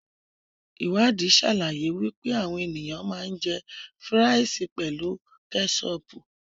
Iwadii sàlàyé wípé àwọn ènìyàn ma ń jẹ́ fíràìsì pelu kẹ́sọpù.